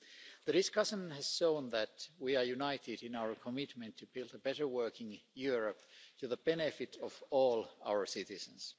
The discussion has shown that we are united in our commitment to build a better working Europe to the benefit of all our citizens.